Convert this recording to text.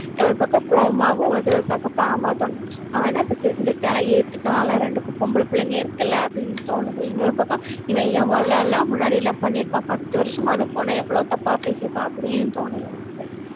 ஒரு பக்கம் கோவமாவும் வருது, ஒரு பக்கம் பாவமா தோணுச்சு. அவன்தான், இப்ப திருந்திட்டான் ஏத்துக்கலாம், இல்லை, ரெண்டு பொம்பளைப் பிள்ளைங்க இருக்குல்ல அப்படின்னு தோணுது. இன்னொரு பக்கம், இவன் எவ்வளவு எல்லாம், முன்னாடி எல்லாம் பண்ணி இருப்பான்? பத்து வருஷமா, அந்த பொண்ணை எவ்வளவு தப்பா பேசியிருப்பான் அப்படியும் தோணுது எனக்கு